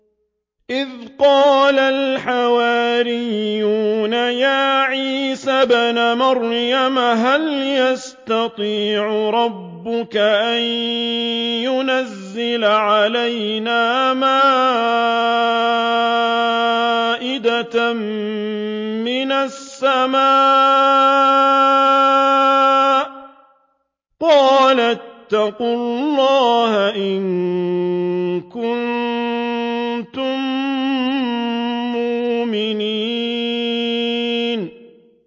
إِذْ قَالَ الْحَوَارِيُّونَ يَا عِيسَى ابْنَ مَرْيَمَ هَلْ يَسْتَطِيعُ رَبُّكَ أَن يُنَزِّلَ عَلَيْنَا مَائِدَةً مِّنَ السَّمَاءِ ۖ قَالَ اتَّقُوا اللَّهَ إِن كُنتُم مُّؤْمِنِينَ